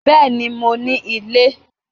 Bẹ́ẹ̀ni, mo ní ilé